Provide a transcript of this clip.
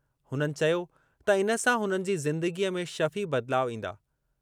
हुननि चयो त इन सां हुननि जी ज़िंदगीअ में शफ़ी बदिलाव ईंदा।